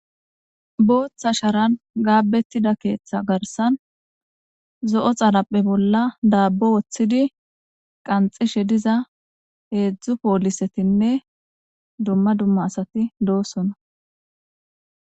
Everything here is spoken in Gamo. booththa sharan gaabettida keeththa garsan zo7o xalaphe bolla daabbo woththidi qanxishe diza heedzdzu poolisetinne dumma dumma asati doosona